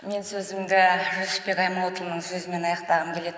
мен сөзімді жүсіпбек аймауытұлының сөзімен аяқтағым келеді